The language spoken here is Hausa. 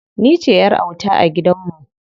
Ni ce ƴar auta a gidan mu.